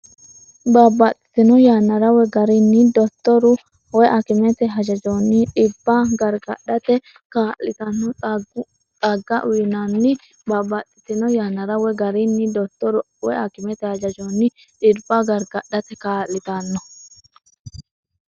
Babbaxxitino yannara woy garinni dottoru(akimete) hajajonni dhibba gargadhate kaa’litanno xagga uyinanni Babbaxxitino yannara woy garinni dottoru(akimete) hajajonni dhibba gargadhate kaa’litanno.